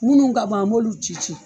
Munnu ka bon an b'olu ci ci.